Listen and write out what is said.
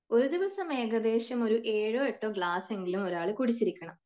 ഒരു ദിവസം ഏകദേശം ഒരു ഏഴോ എട്ടോ ഗ്ലാസ് എങ്കിലും ഒരാൾ കുടിച്ചിരിക്കണം.